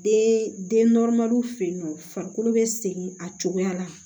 Den den fenyennɔ farikolo bɛ segin a cogoya la